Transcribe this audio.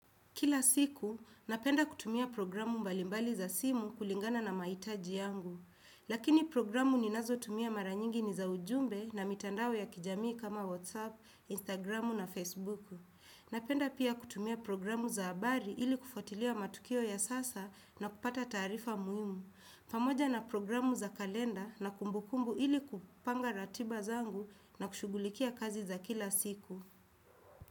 Kila siku, napenda kutumia programu mbalimbali za simu kulingana na maitaji yangu. Lakini programu ni nazo tumia maranyingi ni za ujumbe na mitandao ya kijamii kama WhatsApp, Instagramu na Facebooku. Napenda pia kutumia programu za abari ili kufuatilia matukio ya sasa na kupata taarifa muhimu. Pamoja na programu za kalenda na kumbukumbu ili kupanga ratiba zangu na kushugulikia kazi za kila siku.